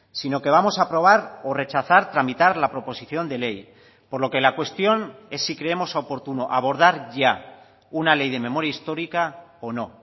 sino que vamos a aprobar o rechazar tramitar la proposición de ley por lo que la cuestión es si creemos oportuno abordar ya una ley de memoria histórica o no